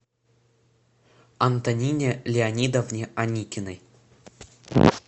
антонине леонидовне аникиной